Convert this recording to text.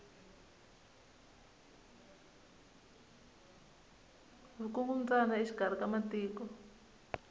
vukungumbyana exikari ka matiko